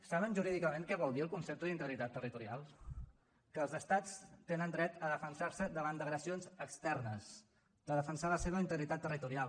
saben jurídicament què vol dir el concepte d’integritat territorial que els estats tenen dret a defensar se davant d’agressions externes de defensar la seva integritat territorial